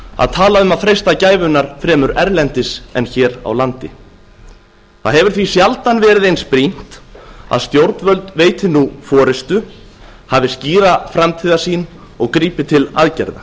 að tala um að freista gæfunnar fremur erlendis en hér á landi það hefur því sjaldan verið eins brýnt að stjórnvöld veiti nú forustu hafi skýra framtíðarsýn og grípi til aðgerða